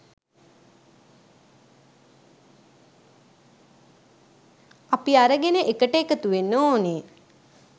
අපි අරගෙන එකට එකතුවෙන්න ඕනේ.